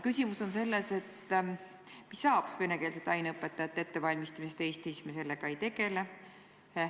Küsimus on selles, mis saab venekeelsete aineõpetajate ettevalmistamisest Eestis, kui me sellega ei tegele.